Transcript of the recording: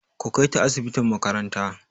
Ku kai ta asibitin makaranta!